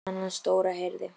En konan hans Dóra heyrði.